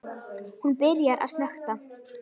Hún byrjar að snökta.